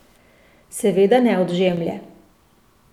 Seveda ne od Žemlje.